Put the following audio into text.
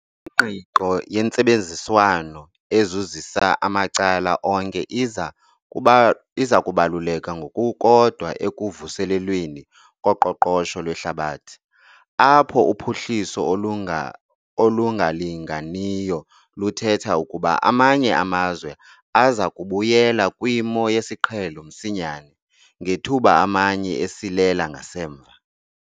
Ingqiqo yentsebenziswano ezuzisa amacala onke iza kubaluleka ngokukodwa ekuvuselelweni koqoqosho lwehlabathi, apho uphuhliso olungalinganiyo luthetha ukuba amanye amazwe aza kubuyela kwimo yesiqhelo msinyane, ngethuba amanye esilela ngasemva.